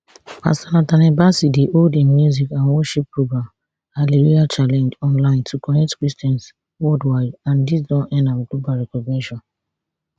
pastor nathaniel bassey dey hold im music and worship program hallelujah challenge online to connect christians worldwide and dis don earn am global recognition